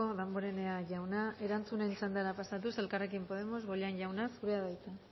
damborenea jauna erantzunen txandara pasatuz elkarrekin podemos bollain jauna zurea da hitza